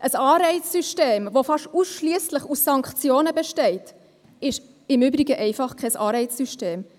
Ein Anreizsystem, das fast ausschliesslich aus Sanktionen besteht, ist im Übrigen einfach kein Anreizsystem.